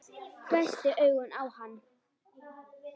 Hvessti augun á hann.